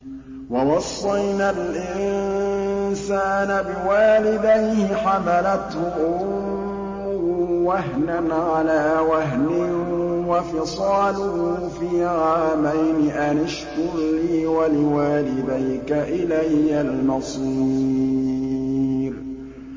وَوَصَّيْنَا الْإِنسَانَ بِوَالِدَيْهِ حَمَلَتْهُ أُمُّهُ وَهْنًا عَلَىٰ وَهْنٍ وَفِصَالُهُ فِي عَامَيْنِ أَنِ اشْكُرْ لِي وَلِوَالِدَيْكَ إِلَيَّ الْمَصِيرُ